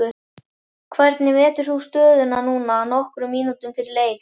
Hvernig metur þú stöðuna núna nokkrum mínútum fyrir leik?